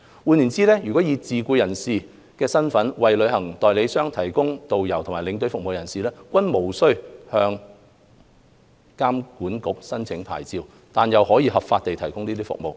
換言之，以自僱人士身份為旅行代理商提供導遊和領隊服務的人士，均無須向旅監局申領牌照，但又可合法地提供有關服務。